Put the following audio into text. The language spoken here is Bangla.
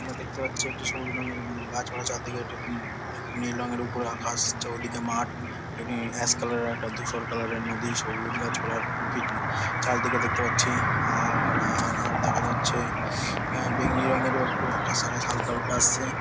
আমরা দেখতে পারছি একটি সবুজ রঙের ইং গাছপালা চারদিকে একটি ই নীল রঙের উপরে আকাশ। চৌদিকে মাঠ। একটি অ্যাশ কালার এর একটা ধূসর কালার এর নদী। সবুজ গাছ পালার ঠিক চারি দিকে দেখতে পাচ্ছি। আর আর আর দেখা যাচ্ছে আ বেগনি রঙের একটু আকাশ আকাশ হালকা হালকা আসছে ।